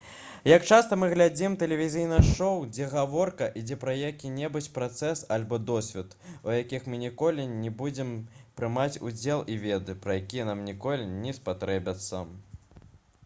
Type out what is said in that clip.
як часта мы глядзім тэлевізійныя шоу дзе гаворка ідзе пра які-небудзь працэс альбо досвед у якіх мы ніколі не будзем прымаць удзел і веды пра якія нам ніколі не спатрэбяцца